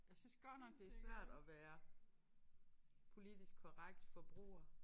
Jeg synes godt nok det svært at være politisk korrekt forbruger